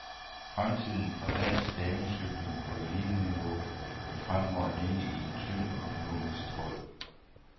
Fremtiden for dansk damecykling på eliteniveau vil fremover hænge i en tynd økonomisk tråd.